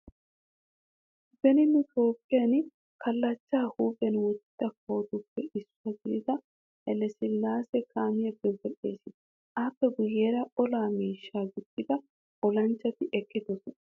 Beni nu Toophphen kallachchaa huuphiyan wottiya kawotuppe issuwa gidida Hayle Sillaase kaamiyappe wodhdhees. Appe guyyeera ola miishshaa gixxida olanchchati eqqidosona.